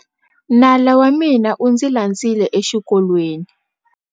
Nala wa mina u ndzi landzile exikolweni